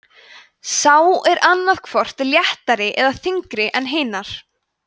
sú er annað hvort léttari eða þyngri en hinar